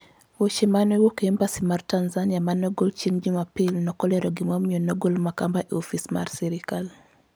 Weche ma ne owuok e Embassy mar Tanzania ma ne ogol chieng' Jumapil ne ok olero gimomiyo ne ogol Makamba e ofis mar sirkal.